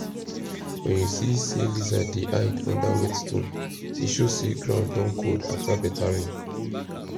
when you see say lizard dey hide under wet stone e show say ground don cold after better rain